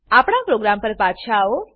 આપણા પ્રોગ્રામ પર પાછા આવો